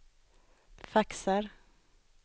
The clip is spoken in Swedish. faxar